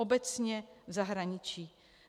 Obecně v zahraničí.